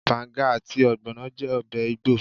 Banga àti ogbono jẹ́ ọbẹ̀ igbo.